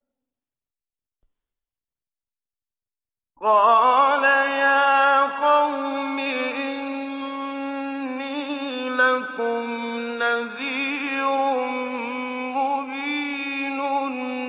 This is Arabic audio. قَالَ يَا قَوْمِ إِنِّي لَكُمْ نَذِيرٌ مُّبِينٌ